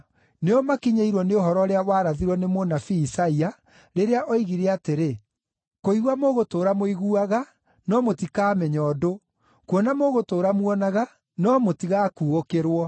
Nĩo makinyĩirwo nĩ ũhoro ũrĩa warathirwo nĩ mũnabii Isaia, rĩrĩa oigire atĩrĩ: “ ‘Kũigua mũgũtũũra mũiguaga, no mũtikaamenya ũndũ; kuona mũgũtũũra muonaga, no mũtigakuũkĩrwo.